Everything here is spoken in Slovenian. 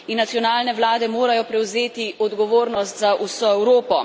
In nacionalne vlade morajo prevzeti odgovornost za vso Evropo.